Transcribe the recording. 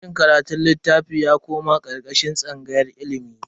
Sashen karatun litattafai ya koma karkashin tsangayar ilimi.